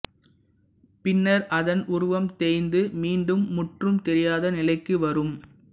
பின்னர் அதன் உருவம் தேய்ந்து மீண்டும் முற்றும் தெரியாத நிலைக்கு வரும்